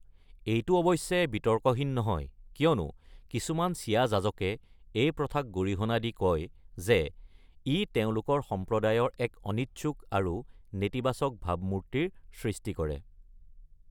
এইটো অৱশ্যে বিতৰ্কহীন নহয়, কিয়নো কিছুমান ছিয়া যাজকে এই প্ৰথাক গৰিহণা দি কয় যে "ই তেওঁলোকৰ সম্প্ৰদায়ৰ এক অনিচ্ছুক আৰু নেতিবাচক ভাবমূৰ্তিৰ সৃষ্টি কৰে।"